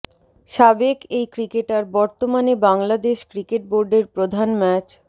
সাবেক এই ক্রিকেটার বর্তমানে বাংলাদেশ ক্রিকেট বোর্ডের প্রধান ম্যাচ